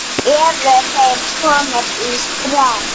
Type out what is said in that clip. Eru þeir komnir í spreng?